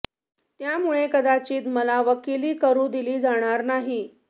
त्यामुळे कदाचित मला वकिली करू दिली जाणार नाही